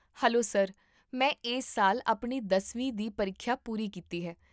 hello sir, ਮੈਂ ਇਸ ਸਾਲ ਆਪਣੀ ਦਸ ਵੀਂ ਦੀ ਪ੍ਰੀਖਿਆ ਪੂਰੀ ਕੀਤੀ ਹੈ